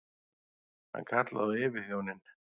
Hann kallaði á yfirþjóninn.